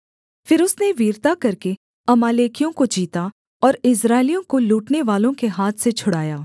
फिर उसने वीरता करके अमालेकियों को जीता और इस्राएलियों को लूटनेवालों के हाथ से छुड़ाया